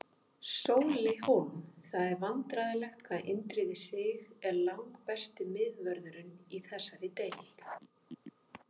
Sóli Hólm Það er vandræðalegt hvað Indriði Sig er langbesti miðvörðurinn í þessari deild.